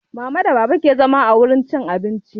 Mama da baba ke zama a wurin cin abincin